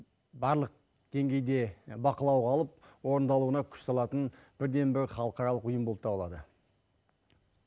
барлық деңгейде бақылауға алып орындалуына күш салатын бірден бір халықаралық ұйым болып табылады